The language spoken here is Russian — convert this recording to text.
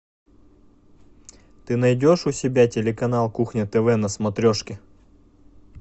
ты найдешь у себя телеканал кухня тв на смотрешке